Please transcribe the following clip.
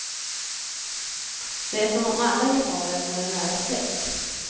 Det är som om alla geparder vore nära släkt.